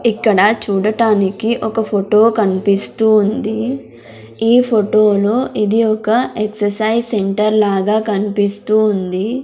ఇక్కడ చూడటానికి ఒక ఫొటో కన్పిస్తూ ఉంది ఈ ఫోటోలో ఇది ఒక ఎక్ససైజ్ సెంటర్ లాగా కన్పిస్తూ ఉంది.